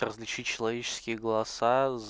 различить человеческий голоса за